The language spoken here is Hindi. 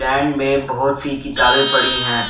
स्टैन्ड में बहोत सी किताबें पड़ी हैं।